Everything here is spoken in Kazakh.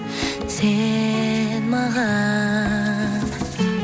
сен маған